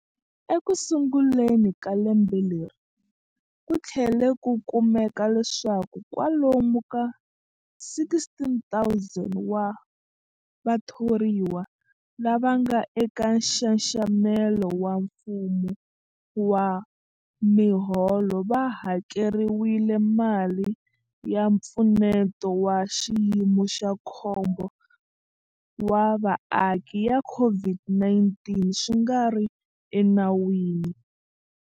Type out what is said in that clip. Ekusunguleni ka lembe leri, ku tlhele ku kumeka leswaku kwalomu ka 16,000 wa vatho riwa lava nga eka nxaxamelo wa mfumo wa miholo va hakeriwile mali ya Mpfuneto wa Xiyimo xa Khombo wa Vaaki ya COVID-19 swi nga ri enawini.